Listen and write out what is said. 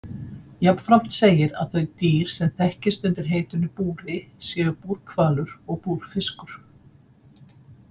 Jafnframt segir að þau dýr sem þekkist undir heitinu búri séu búrhvalur og búrfiskur.